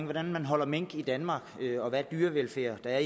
hvordan man holder mink i danmark og hvordan dyrevelfærden er